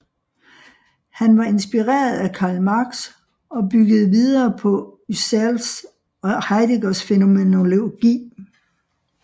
Han var inspireret af Karl Marx og byggede videre på Husserls og Heideggers fænomenologi